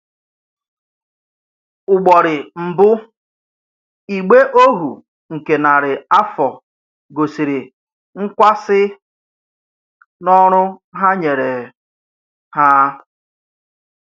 Ụ́gbọ́rị̀ mbụ̀, ìgbè ohu nke narị afọ gosiri nkwààsi n’ọrụ ha nyere ha.